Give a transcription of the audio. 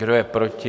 Kdo je proti?